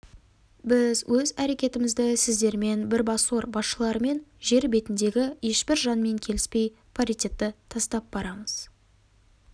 біз өз әрекетімізді сіздермен бірбасор басшыларымен жер бетіндегі ешбір жанмен келіспей паритетті тастап барамыз